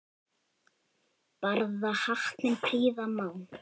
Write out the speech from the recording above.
Barða hattinn prýða má.